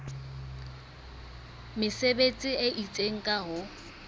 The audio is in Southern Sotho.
mesebetsi e itseng ka ho